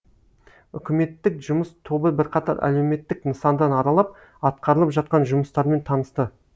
үкіметтік жұмыс тобы бірқатар әлеуметтік нысандан аралап атқарылып жатқан жұмыстармен танысты